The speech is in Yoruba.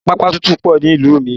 Pápá tútù pọ nílùú mi